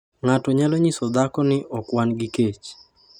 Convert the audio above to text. "ng'ato nyalo nyiso dhako ni ok wan gi kech??